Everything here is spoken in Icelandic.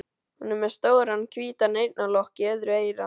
Hún er með stóran hvítan eyrnalokk í öðru eyra.